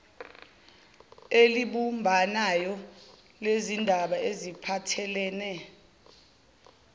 elibumbanayo lezindaba ezipahthelene